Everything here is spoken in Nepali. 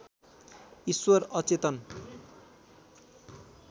ईश्वर अचेतन